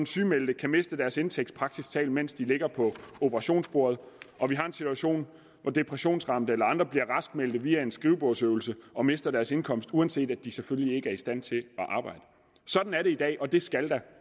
sygemeldte kan miste deres indtægt praktisk talt mens de ligger på operationsbordet og vi har en situation hvor depressionsramte eller andre bliver raskmeldte via en skrivebordsøvelse og mister deres indkomst uanset at de selvfølgelig ikke er i stand til at arbejde sådan er det i dag og det skal der